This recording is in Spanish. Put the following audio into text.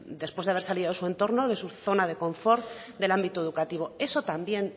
después de hacer salido de su entorno de su zona de confort del ámbito educativo eso también